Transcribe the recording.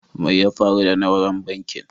Mai ya faru da nauran bankin?